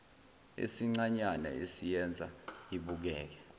esincanyana esiyenza ibukeke